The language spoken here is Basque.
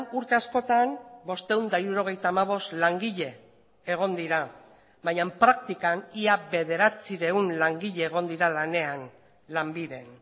urte askotan bostehun eta hirurogeita hamabost langile egon dira baina praktikan ia bederatziehun langile egon dira lanean lanbiden